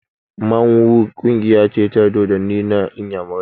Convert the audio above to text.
Mmanwu ƙungiya ce ta dodanni na inyamurai